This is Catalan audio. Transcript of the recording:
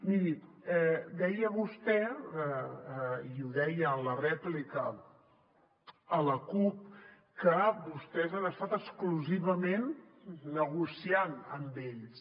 miri deia vostè i ho deia en la rèplica a la cup que vostès han estat exclusivament negociant amb ells